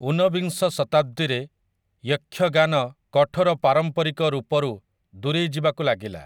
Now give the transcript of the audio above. ଉନବିଂଶ ଶତାବ୍ଦୀରେ 'ୟକ୍ଷଗାନ' କଠୋର ପାରମ୍ପାରିକ ରୂପରୁ ଦୂରେଇ ଯିବାକୁ ଲାଗିଲା ।